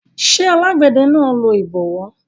ṣé alágbẹ̀dẹ náà lo ìbọwọ́